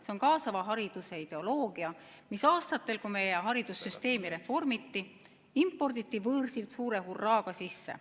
See on kaasava hariduse ideoloogia, mis aastatel, kui meie haridussüsteemi reformiti, imporditi võõrsilt suure hurraaga sisse.